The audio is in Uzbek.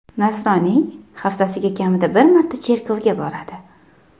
Nasroniy, haftasiga kamida bir marta cherkovga boradi.